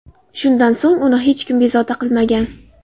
Shundan so‘ng uni hech kim bezovta qilmagan.